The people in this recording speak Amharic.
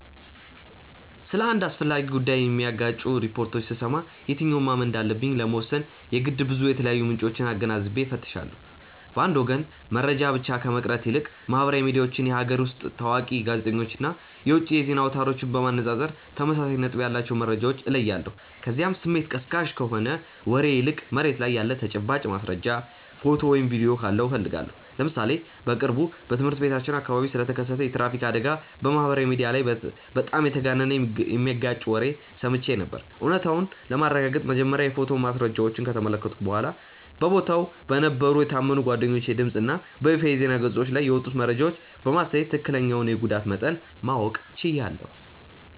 ስለ አንድ አስፈላጊ ጉዳይ የሚጋጩ ሪፖርቶችን ስሰማ የትኛውን ማመን እንዳለብኝ ለመወሰን የግድ ብዙ የተለያዩ ምንጮችን አገናዝቤ እፈትሻለሁ። በአንድ ወገን መረጃ ብቻ ከመቅረት ይልቅ ማህበራዊ ሚዲያዎችን፣ የሀገር ውስጥ ታዋቂ ጋዜጠኞችን እና የውጭ የዜና አውታሮችን በማነጻጸር ተመሳሳይ ነጥብ ያላቸውን መረጃዎች እለያለሁ፤ ከዚያም ስሜት ቀስቃሽ ከሆነ ወሬ ይልቅ መሬት ላይ ያለ ተጨባጭ ማስረጃ፣ ፎቶ ወይም ቪዲዮ ካለው እፈልጋለሁ። ለምሳሌ በቅርቡ በትምህርት ቤታችን አካባቢ ስለተከሰተ የትራፊክ አደጋ በማህበራዊ ሚዲያ ላይ በጣም የተጋነነና የሚጋጭ ወሬ ሰምቼ ነበር፤ እውነታውን ለማረጋገጥ መጀመሪያ የፎቶ ማስረጃዎችን ከተመለከትኩ በኋላ፣ በቦታው በነበሩ የታመኑ ጓደኞቼ ድምፅ እና በይፋዊ የዜና ገጾች ላይ የወጡትን መረጃዎች በማስተያየ ትክክለኛውን የጉዳት መጠን ማወቅ ችያለሁ።